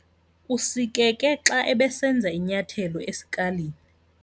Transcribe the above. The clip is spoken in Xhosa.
Usikeke xa ebesenza inyathelo esikalini.